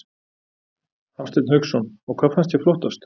Hafsteinn Hauksson: Og hvað fannst þér flottast?